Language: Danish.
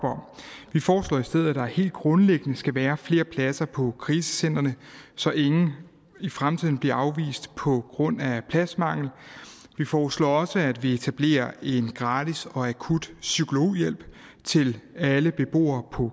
vi foreslår i stedet at der helt grundlæggende skal være flere pladser på krisecentrene så ingen i fremtiden bliver afvist på grund af pladsmangel vi foreslår også at vi etablerer en gratis og akut psykologhjælp til alle beboere på